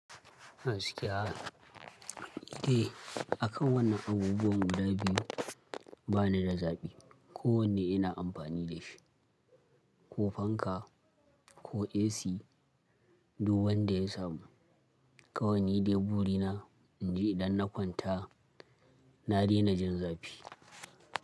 Gaskiya. Eh, akan wannan abubuwan guda biyu, ba ni da zaɓi. Ko wanne ina amfani da shi, ko fanka, ko AC, duk wanda ya samu. Kawai ni dai buri na, in ji idan na kwanta na daina jin zafi.